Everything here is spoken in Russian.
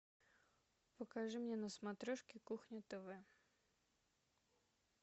покажи мне на смотрешке кухня тв